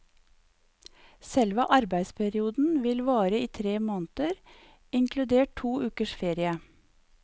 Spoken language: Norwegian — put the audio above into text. Selve arbeidsperioden vil vare i tre måneder, inkludert to ukers ferie.